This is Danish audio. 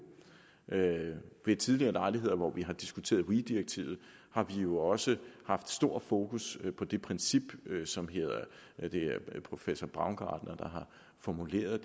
ved tidligere lejligheder hvor vi har diskuteret weee direktivet har vi jo også haft stor fokus på det princip som professor baumgart har formuleret